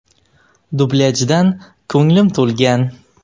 Dublyajdan ko‘nglim to‘lgan.